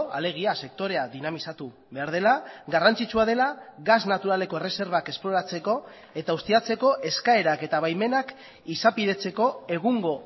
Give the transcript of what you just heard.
alegia sektorea dinamizatu behar dela garrantzitsua dela gas naturaleko erreserbak esploratzeko eta ustiatzeko eskaerak eta baimenak izapidetzeko egungo